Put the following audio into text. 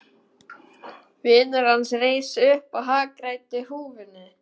Vinur hans reis upp og hagræddi húfunni.